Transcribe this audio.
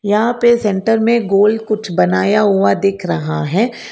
यहां पे सेंटर में गोल कुछ बनाया हुआ दिख रहा है।